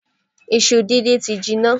Iṣu díndín ti jinná.